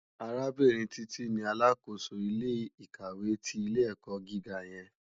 Arábìrín Titi ni àlákósó ilé ikáwé ti ilé èkò gigá yèn